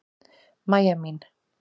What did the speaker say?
Mæja mín.